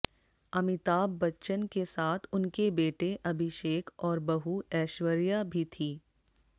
अमिताभ बच्चन के साथ उनके बेटे अभिषेक और बहू ऐश्वर्या भी थी